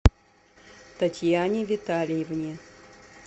татьяне витальевне